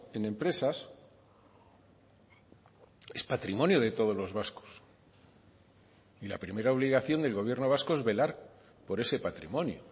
en empresas es patrimonio de todos los vascos y la primera obligación del gobierno vasco es velar por ese patrimonio